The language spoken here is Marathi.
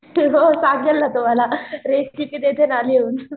हो सांगेल ना तुम्हाला रेसिपी देते ना लिहून